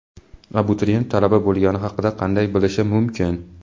Abituriyent talaba bo‘lgani haqida qanday bilishi mumkin?.